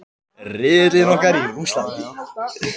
Riðillinn okkar í Rússlandi.